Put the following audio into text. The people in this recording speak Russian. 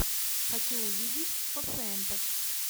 хочу увидеть пациентов